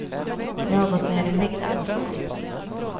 Jag har gått ner i vikt och så.